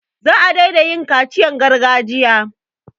Za a daina yin kaciyan gargajiya.